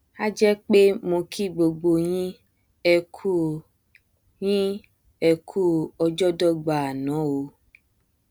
a jẹ pé mo kí gbogbo yín ẹkú yín ẹkú ọjọdọgba àná o